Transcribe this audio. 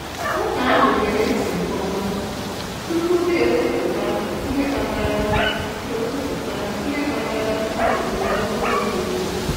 Nwata ahụ gere ntị nke ọma tupu ha ekwụputa ihe kpatara ekwụputa ihe kpatara ha ji họrọ ụzọ di iche.